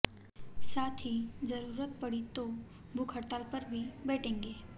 साथ ही जरूरत पड़ी तो भूख हड़ताल पर भी बैठेंगे